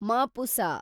Mapusa